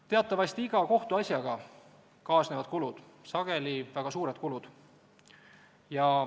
Teatavasti kaasnevad iga kohtuasjaga kulud, sageli väga suured kulud.